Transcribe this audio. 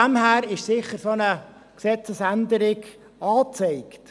Deshalb ist eine solche Gesetzesänderung sicher angezeigt.